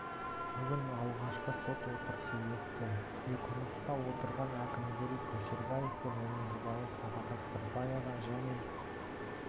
бүгін алғашқы сот отырысы өтті үйқамақта отырған әкімгерей көшербаев пен оның жұбайы сағадат сырбаева және